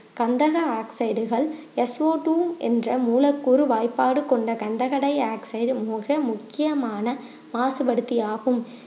கந்தக ஆக்சைடுகள் SO two என்ற மூலக்கூறு வாய்ப்பாடு கொண்ட கண்டகடையாக்சைடு மிக முக்கியமான மாசுபடுத்தி ஆகும்